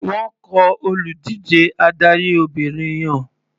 Wọ́n kọ olùdíje tí adarí Obìnrin yàn.